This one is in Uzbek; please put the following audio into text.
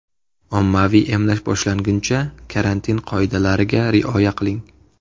Ommaviy emlash boshlanguncha karantin qoidalariga rioya qiling.